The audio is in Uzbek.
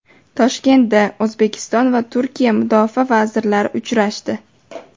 Toshkentda O‘zbekiston va Turkiya Mudofaa vazirlari uchrashdi.